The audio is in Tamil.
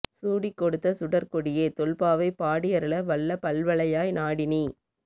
சூடிக் கொடுத்த சூடர்க் கொடியே தொல்பாவை பாடியருள வல்ல பல்வளையாய் நாடி நீ